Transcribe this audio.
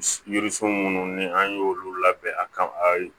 Yiririsiw minnu ni an ye olu labɛn a kama a